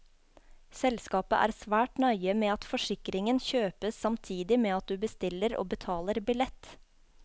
Selskapet er svært nøye med at forsikringen kjøpes samtidig med at du bestiller og betaler billett.